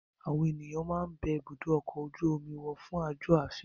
Àwọn ènìyàn náà máa ń bẹ ibùdó ọkọ̀ ojú omi wò fún àjò afẹ́.